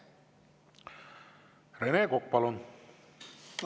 Rene Kokk, palun!